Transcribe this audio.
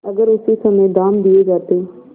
अगर उसी समय दाम दे दिये जाते